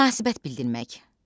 Münasibət bildirmək.